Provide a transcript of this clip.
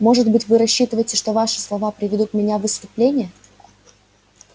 может быть вы рассчитываете что ваши слова приведут меня в исступление